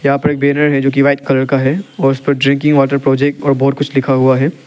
यहां पे एक बैनर है जो कि व्हाइट कलर का है और उस पर ड्रिंकिंग वॉटर प्रोजेक्ट और बहुत कुछ लिखा हुआ है।